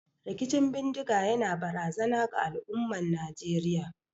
Rikicin bindiga yana barazana ga al'ummar Najeriya.